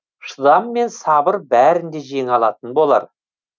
шыдам мен сабыр бәрін де жеңе алатын болар